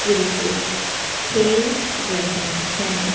Cricket खेल रहे हैं।